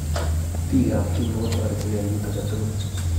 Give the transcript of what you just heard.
Biik ab Kimbo ko toretekei eng kiit agetugul.